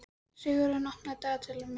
Sigurörn, opnaðu dagatalið mitt.